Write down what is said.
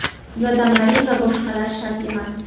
yodomarin va boshqalar shart emas.